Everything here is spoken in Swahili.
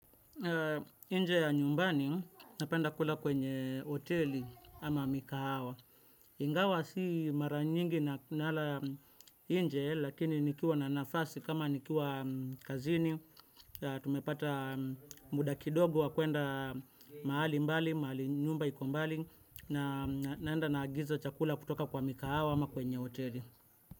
Nje ya nyumbani napenda kula kwenye, hoteli ama mikahawa. Ingawa si mara nyingi nala nje, lakini nikiwa na nafasi kama nikiwa kazini. Tumepata muda kidogo wa kuenda mahali mbali, mahali nyumba iko mbali na naenda naagiza chakula kutoka kwa mikahawa ama kwenye hoteli.